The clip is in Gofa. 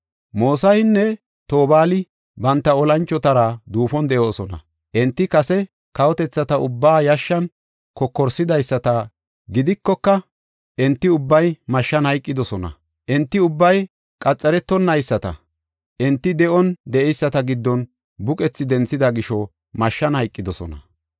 “Mosahinne Tobaali banta olanchotara duufon de7oosona; enti kase kawotethata ubbaa yashshan kokorsidaysata gidikoka, enti ubbay mashshan hayqidosona. Enti ubbay qaxaretonayisata. Enti de7on de7eyisata giddon buqethi denthida gisho mashshan hayqidosona.